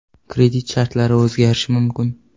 Kredit shartlari o‘zgarishi mumkin.